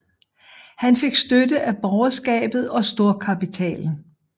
Han fik støtte af borgerskabet og storkapitalen